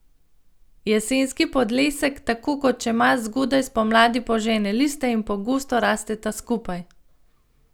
Jesenski podlesek tako kot čemaž zgodaj spomladi požene liste in pogosto rasteta skupaj.